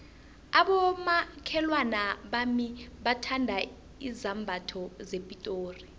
abomakhelwana bami bathanda izambatho zepitori